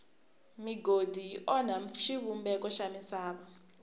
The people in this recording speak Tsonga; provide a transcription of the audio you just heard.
migodi yi onha xivumbeko xa misava